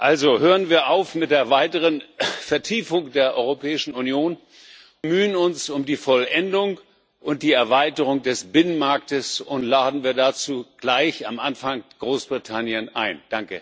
Also hören wir auf mit der weiteren Vertiefung der Europäischen Union, bemühen wir uns um die Vollendung und die Erweiterung des Binnenmarkts, und laden wir dazu gleich am Anfang Großbritannien ein!